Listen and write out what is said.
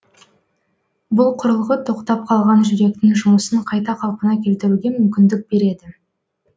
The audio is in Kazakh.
бұл құрылғы тоқтап қалған жүректің жұмысын қайта қалпына келтіруге мүмкіндік береді